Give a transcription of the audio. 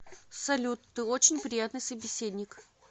салют ты очень приятный собеседник